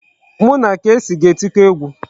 Mụ na Kcee ga-etiko egwu.